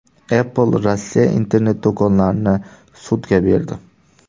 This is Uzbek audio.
Apple Rossiya internet-do‘konlarini sudga berdi.